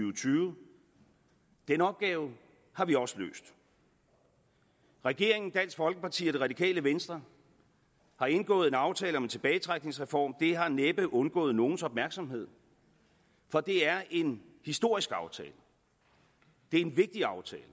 og tyve den opgave har vi også løst regeringen dansk folkeparti og det radikale venstre har indgået en aftale om en tilbagetrækningsreform og det har næppe undgået nogens opmærksomhed for det er en historisk aftale det er en vigtig aftale